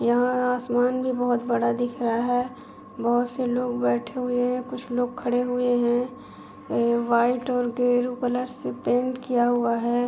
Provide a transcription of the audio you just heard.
यहाँ आसमान भी बहोत बड़ा दिख रहा है। बहुत से लोग बैठे हुए हैं कुछ लोग खड़े हुए हैं ए व्हाइट और गेरू कलर से पेंट किया हुआ है।